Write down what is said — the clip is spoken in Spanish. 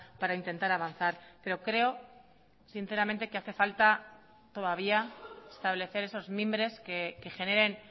para intentar avanzar pero creo sinceramente que hace falta todavía establecer esos mimbres que generen